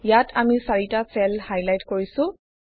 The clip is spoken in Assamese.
ইয়াত আমি চাৰিটা চেল হাইলাইট কৰিছোঁ